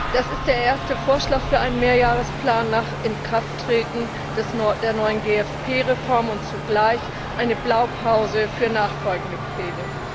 Das ist der erste Vorschlag für einen Mehrjahresplan nach Inkrafttreten der neuen GFP Reform und zugleich eine Blaupause für nachfolgende Pläne.